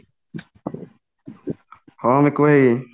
ହଁ ମିକୁ ଭାଇ